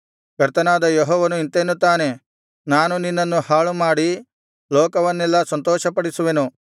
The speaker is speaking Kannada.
ಕರ್ತನಾದ ಯೆಹೋವನು ಇಂತೆನ್ನುತ್ತಾನೆ ನಾನು ನಿನ್ನನ್ನು ಹಾಳುಮಾಡಿ ಲೋಕವನ್ನೆಲ್ಲಾ ಸಂತೋಷಪಡಿಸುವೆನು